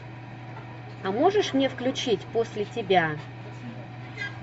а можешь мне включить после тебя